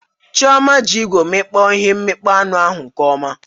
Chioma ji igwe mmikpo ihe mikpoo anụ ahụ nkeọma